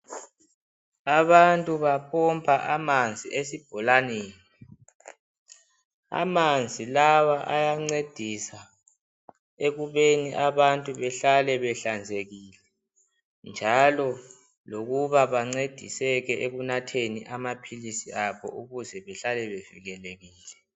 Abantu bapompa amanzi esibholaneni amanzi lawa ayancedisa ekubeni abantu bahlale behlanzekile njalo lokuba bancediseke ekunatheni amaphilisi abo ukuze behlale bevikelekile.